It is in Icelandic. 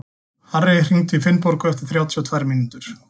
Harri, hringdu í Finnborgu eftir þrjátíu og tvær mínútur.